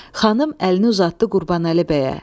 Xanım əlini uzatdı Qurbanəli bəyə.